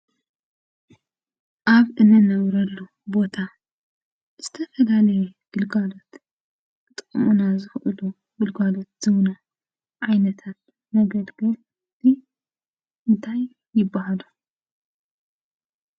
ኣብ እንነብረሉ ቦታ ዝተፈላለየ ግልጋሎት ክጠቕሙና ዝኽእሉ ግልጋሎት ዝህቡና ዓይነታት መገልገልቲ እንታይ ይባሃሉ?